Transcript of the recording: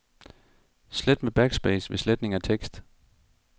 Slet med backspace ved sletning af tekst.